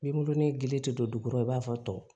Nimoro ni gili tɛ don du kɔrɔ i b'a fɔ tɔw